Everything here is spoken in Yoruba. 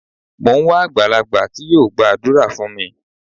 Mò ń wá àgbàlagbà tí yóò gbàdúrà fún mi.